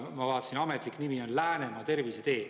Ma vaatasin, ametlik nimi on Läänemaa tervisetee.